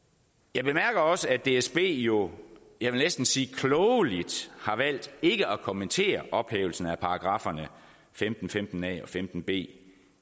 jeg bemærker også at dsb jo jeg vil næsten sige klogeligt har valgt ikke at kommentere ophævelsen af paragrafferne femten femten a og femten b